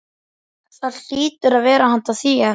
Það hlýtur að vera handa þér.